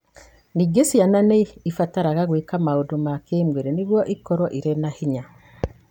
Ningĩ, ciana nĩ ibataraga gwĩka maũndũ ma kĩĩmwĩrĩ nĩguo ikorũo irĩ na hinya.